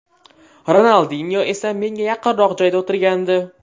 Ronaldinyo esa menga yaqinroq joyda o‘tirgandi.